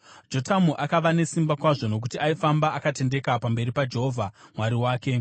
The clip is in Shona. Jotamu akava nesimba kwazvo nokuti aifamba akatendeka pamberi paJehovha Mwari wake.